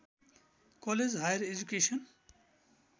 college higher education